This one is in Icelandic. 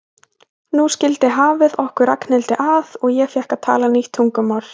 Nú skildi hafið okkur Ragnhildi að og ég fékk að tala nýtt tungumál.